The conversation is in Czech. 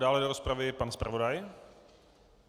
Dále do rozpravy pan zpravodaj.